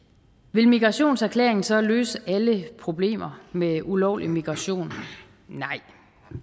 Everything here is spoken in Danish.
vil migrationserklæringen så løse alle problemer med ulovlig migration nej